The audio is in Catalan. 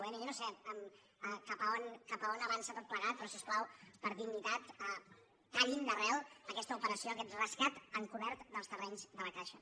bé jo no sé cap a on avança tot plegat però si us plau per dignitat tallin d’arrel aquesta operació aquest rescat encobert dels terrenys de la caixa